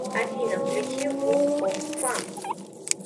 афина включи фул оф фан